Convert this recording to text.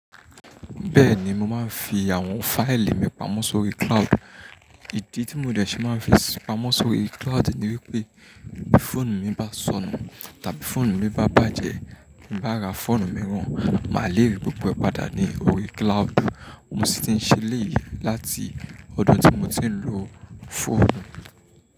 Ehn, mo máa ń fi àwọn fáìlì mi pamọ́ sí orí cloud. Ìdí tí mo dẹ̀ ṣe máa fi pamọ́ sórí cloud ni wípé bí fóònù mi bá sọnù, tàbí fóònù mi bá bàjẹ́, bí n bá ra fóònù mìíràn, màá le rí gbogbo ẹ̀ padà ní orí cloud. Mo sì ti ń ṣe eléyì láti ọdún tí mo ti ń lo fóònù.